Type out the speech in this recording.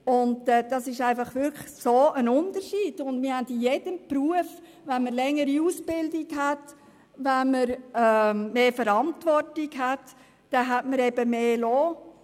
In jedem Beruf erhält man mehr Lohn, wenn man eine längere Ausbildung absolviert hat oder mehr Verantwortung übernimmt.